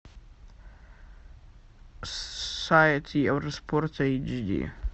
сайт евроспорта эйчди